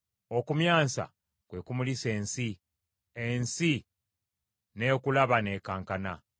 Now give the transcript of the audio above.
Okumyansa kwe kumulisa ensi; ensi n’ekulaba n’ekankana.